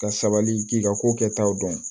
Ka sabali k'i ka ko kɛtaw dɔn